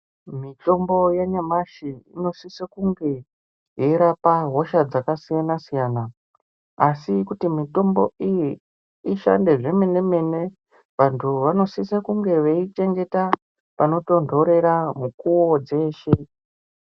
Mutombo yanyamashi inosise kunge yeirapa hosha dzakasiyana siyana asi kuti mutombo iyi ishande zvemene mene vantu vanosise kunge veichengeta panotontorera mukuwo dzeshe.